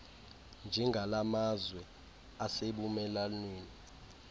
njengala mazwe asebumelwaneni